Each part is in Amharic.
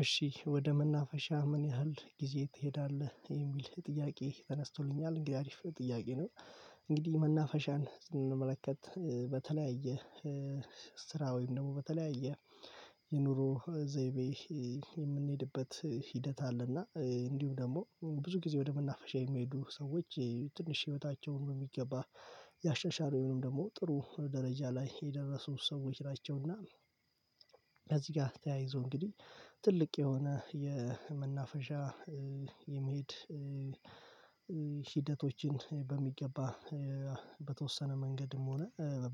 እሺ ወደ መናፈሻ ምን ያህል ጊዜ ትሄዳለህ? የሚል ጥያቄ ተነስቶልኛል እንግዲህ አሪፍ ጥያቄ ነው። እንግዲህ መናፈሻን ስንመለከት በተለያየ ስራ ወይም ደግሞ በተለያየ የኑሮ ዘይቤ የምንሄድበት ሂደት አለና እንዲሁም ደግሞ ብዙ ጊዜ ወደ መናፈሻ የሚሄዱ ሰዎች ትንሽ ህይወታቸውን በሚገባ ያሻሻሉ ወይም ደግሞ ጥሩ ደረጃ ላይ የደረሱት ሰዎች ናቸውና ጋር ተያይዞ እንግዲህ ትልቅ የሆነ የመናፈሻ የመሄድ ሂደቶችን በሚገባ በተወሰነ መንገድም ሆነ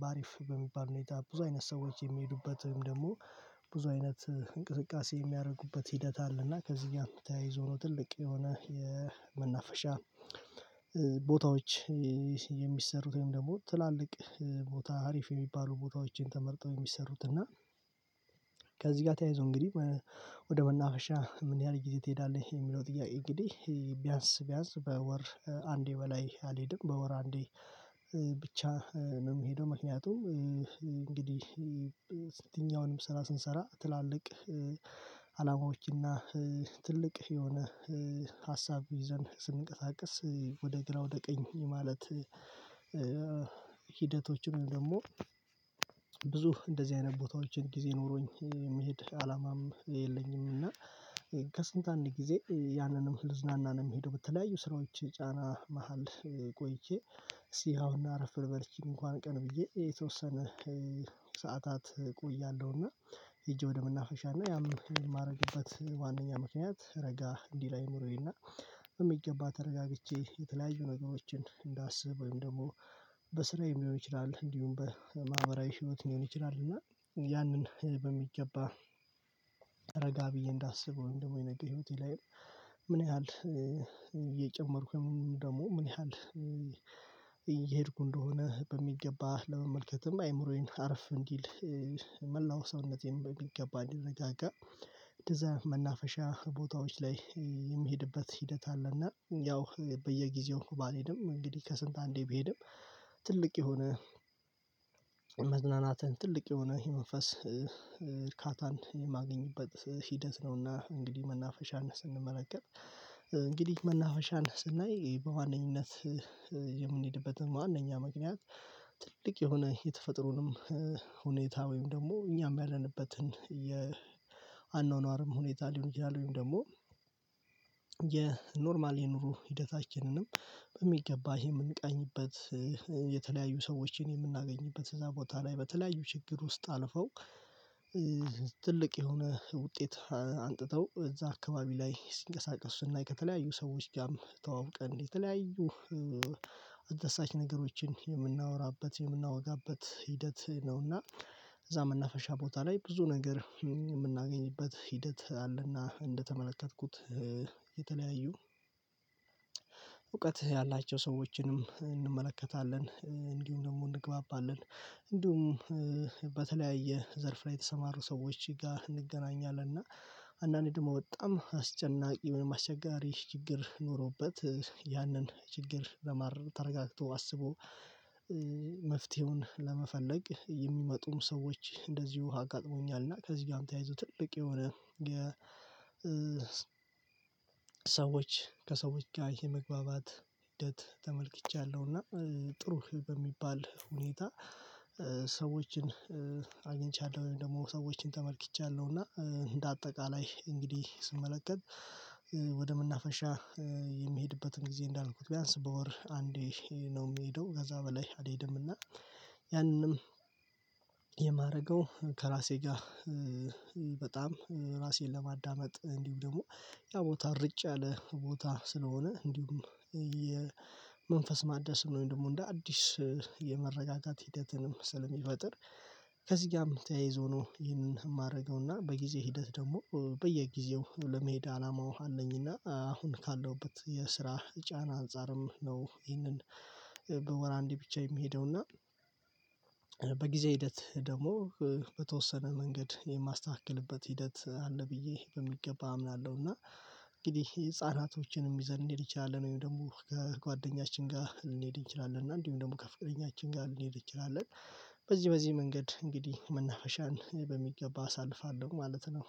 በአሪፍ በሚባል ሁኔታ ብዙ አይነት ሰዎች የሚሄዱበትም ደግሞ ብዙ አይነት እንቅስቃሴ የሚያደርጉበት ሂደት አለና፣ ከዚህ ጋር ተያይዞ ነው ትልቅ የሆነ የመናፈሻ ቦታዎች የሚሰሩት ወይም ደግሞ ትላልቅ ቦታ አሪፍ የሚባሉ ቦታዎችን ተመርጠው የሚሰሩት እና ከዚህ ጋር ተያይዞ እንግዲህ ወደ መናፈሻ ምን ያህል ጊዜ ትሄዳለሁ የሚለው ጥያቄ እንግዲህ ቢያንስ ቢያንስ በወር አንዴ በላይ አልሄድም በወር አንዴ ብቻ ነው የምሄደው ምክንያቱም እንግዲህ ስራ ስንሰራ ትላልቅ አላማዎችና ትልቅ የሆነ ሀሳብ ይዘን ስንቀሳቀስ ወደ ግራ ወደ ቀኝ የማለት ሂደቶችን ወይም ደግሞ ብዙ እንደዚህ አይነት ቦታዎችን ጊዜ ኖሮኝ የመሄድ አላማም የለኝም እና ከስንት አንድ ጊዜ ያንንም ልዝናና ነው የምሄደው በተለያዩ ስራዎች ጫና መሃል ቆይቼ እሲ አሁን አረፍ ልበል ይቺን እንኳን ቀን ብዬ የተወሰነ ሰዓታት እቆያለሁና ሄጄ ወደ ምናፈሻና ያም የማደርግበት ዋናኛ ምክንያት ረጋ እንዲህ ላይ እምሮዬና እና በሚገባ ተረጋግቼ የተለያዩ ነገሮችን እንዳስብ ወይም ደግሞ በስራዬም ሊሆን ይችላል እንዲሁም በማህበራዊ ህይወት ሊሆን ይችላል እና ያንን በሚገባ እረጋ ብዬ እንዳስብ ወይም ደግሞ የነገ ህይወቴ ላይም ምን ያህል እየጨመርኩ ደግሞ ምን ያህል እየሄድኩ እንደሆነ በሚገባ ለመመልከትም አይምሮዬን አርፍ እንዲል መላው ሰውነቴን በሚገባ እንዲረጋጋ እንደዛ መናፈሻ ቦታዎች ላይ የምሄድበት ሂደት አለና ያው በየጊዜው ባልሄድም እንግዲህ ከስንት አንዴ ብሄድም ትልቅ የሆነ መዝናናትን ትልቅ የሆነ የመንፈስ እርካታን የማገኝበት ሂደት ነውና እንግዲህ መናፈሻን ስንመለከት እንግዲህ መናፈሻን ስናይ በዋነኝነት የምንሄድበትም ዋንኛ ምክንያት ትልቅ የሆነ የተፈጥሮንም ሁኔታ ወይም ደግሞ እኛም ያለንበትን የአኗኗርም ሁኔታ ሊሆን ይችላል ወይም ደግሞ የኖርማል የኑሮ ሂደታችንንም በሚገባ የምንቃኝበት የተለያዩ ሰዎችን የምናገኝበት እዛ ቦታ ላይ በተለያዩ ችግር ውስጥ አልፈው ትልቅ የሆነ ውጤት አሱጥተው እዛ አካባቢ ላይ ሲንቀሳቀስ ስናይ ከተለያዩ ሰዎች ጋርም ተዋውቀን የተለያዩ አስደሳች ነገሮችን የምናወራበት የምናወጋበት ሂደት ነውና እዛ መናፈሻ ቦታ ላይ ብዙ ነገር የምናገኝበት ሂደት አለና እንደተመለከትኩት የተለያዩ እውቀት ያላቸውን ሰዎችንም እንመለከታለን። እንዲሁም ደግሞ እንግባባለን እንዲሁም በተለያየ ዘርፍ ላይ የተሰማሩ ሰዎች ጋር እንገናኛለን እና አንዳንዴ ደግሞ ወጣም አስጨናቂ ማስቸጋሪ ችግር ኖሮበት ያንን ችግር ለማረም ተረጋግቶ አስቦ መፍትሄውን ለመፈለግ የሚመጡም ሰዎች እንደዚሁ አጋጥሞኛልና ከዚህ ጋር ተያይዞ ትልቅ የሆነ ሰዎች ከሰዎች ጋር የመግባባት ሂደት ተመልክቻለሁና ጥሩ በሚባል ሁኔታ ሰዎችን አግኝቻለሁ ወይም ደግሞ ሰዎችን ተመልክቻለሁ እና እንደ አጠቃላይ እንግዲህ ስመለከት ወደ ምናፈሻ የሚሄድበትን ጊዜ እንዳልኩት ቢያንስ በወር አንዴ ነው የምሄደው ከዛ በላይ አልሄድምና እና ያንንም የማረገው ከራሴ ጋር በጣም ራሴን ለማዳመጥ እንዲሁ ደግሞ ያ ቦታ ርጭ ያለ ቦታ ስለሆነ እንዲሁም የመንፈስ ማደስ ወይም ደግሞ እንደ አዲስ የመረጋጋት ሂደትንም ስለሚፈጥር ከዚህ ጋርም ተያይዞ ነው ይህንን የማደርገውና በጊዜ ሂደት ደግሞ በየጊዜው ለመሄድ አላማ ውሃ አለኝና አሁን ካለሁበት የስራ ጫና አንፃርም ነው ይህንን በወር አንዴ ብቻ የሚሄደው እና በጊዜ ሂደት ደግሞ በተወሰነ መንገድ የማስተካክልበት ሂደት አለ ብዬ በሚገባ አምናለሁ። እና እንግዲህ ህፃናቶችንም ይዘን ልንሄድ እንችላለን ወይም ደግሞ ከጓደኛችን ጋር ልንሄድ እንችላለን እና እንዲሁም ደግሞ ከፍቅረኛችን ጋር ልንሄድ እንችላለን በዚህ በዚህ መንገድ እንግዲህ መናፈሻን በሚገባ አሳልፋለሁ ማለት ነው።